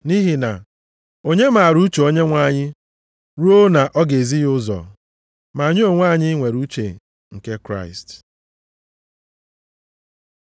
Nʼihi na, “Onye maara uche Onyenwe anyị ruo na ọ ga-ezi ya ụzọ?” + 2:16 \+xt Aịz 40:13\+xt* Ma anyị onwe anyị nwere uche nke Kraịst.